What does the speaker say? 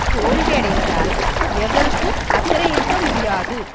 தோல்வியடைவதால் எவருக்கும் அக்கறையிருக்க முடியாது